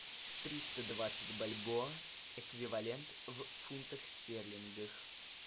триста двадцать бальбоа эквивалент в фунтах стерлингов